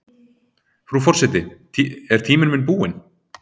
Frú forseti er tíminn minn búinn?